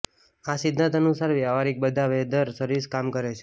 આ સિદ્ધાંત અનુસાર વ્યવહારીક બધા વેધર સર્વિસ કામ કરે છે